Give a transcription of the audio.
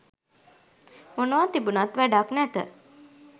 මොනවා තිබුනත් වැඩක් නැත